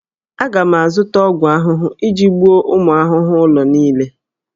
Aga m azụta ọgwụ ahụhụ iji gbuo ụmụ ahụhụ ụlọ niile